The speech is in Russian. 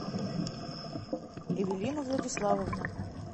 эвелина владиславовна